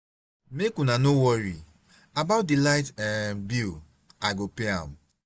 make una no worry about the light um bill i go pay am